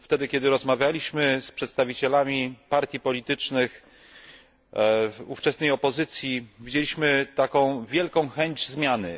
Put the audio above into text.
Gdy rozmawialiśmy z przedstawicielami partii politycznych ówczesnej opozycji, widzieliśmy wielką chęć zmiany.